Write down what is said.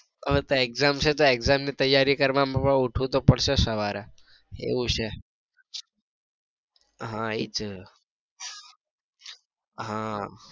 હવે તો exam છે તો exam ની તૈયારી કરવા મા પણ ઉઠવું તો પડશે સવારે એવું છે હા એજ હા.